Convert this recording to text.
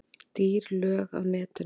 Dýr lög á netinu